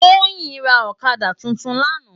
Toyin rá òkàdá tútún làná